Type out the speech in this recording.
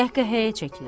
Qəhqəhəyə çəkilir.